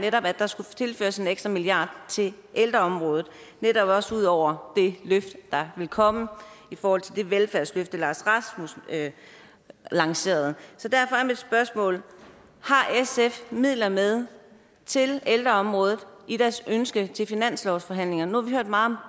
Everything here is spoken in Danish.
netop at der skulle tilføres en ekstra milliard til ældreområdet også ud over det løft der ville komme i forhold til det velfærdsløfte lars løkke rasmussen lancerede så derfor er mit spørgsmål har sf midler med til ældreområdet i deres ønske til finanslovsforhandlingerne nu har vi hørt meget om